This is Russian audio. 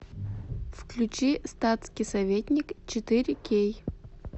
включи статский советник четыре кей